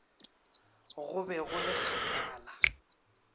go be go le kgakala